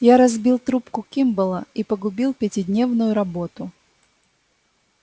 я разбил трубку кимболла и погубил пятидневную работу